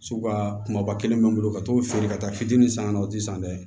Sugu ka kumaba kelen bɛ n bolo ka t'o feere ka taa fitinin san ka na o ti san dɛ